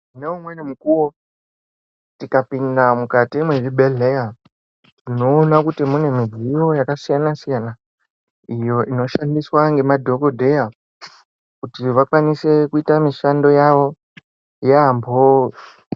Ngoumweni mukuwo ukapinda mukati mwechibhedhleya unoona kuti mune mitombo yakasiyana siyana iyoo inoshandiswa nemadhokoteya kuti vakwanise kuita mishando yavo yamboo.